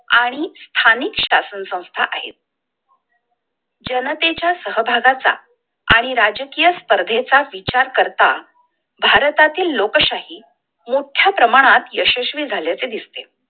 आणि स्थानिक शासन संस्था आहे! जनतेच्या सहभागाचा आणि राजकीय स्पर्धे चा विचार करता भारतातील लोकशाही मोट्ठ्या प्रमाणात यशस्वी झाल्याचं दिसते!